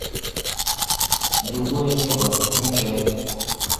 другое небо включай